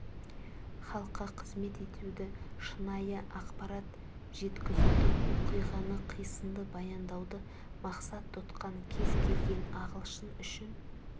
халыққа қызмет етуді шынайы ақпарат жеткізуді оқиғаны қисынды баяндауды мақсат тұтқан кез келген ағылшын үшін